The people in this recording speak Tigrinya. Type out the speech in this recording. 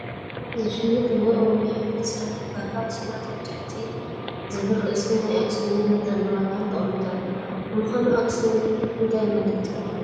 ዝሽየጡ ናይ ኦሮሚያ ሕብረት ስራሕ ባንኪ ኣክስዮናት ኣብ ትሕቲ ዝብል ርእሲ ናይ ኣኽሲዮን መጠንን ዋጋን ተቐሚጡ ኣሎ፡፡ ንምዃኑ ኣክሲዮን እንታይ ማለት እዩ?